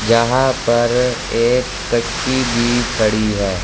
यहां पर एक कश्ती भी खड़ी है।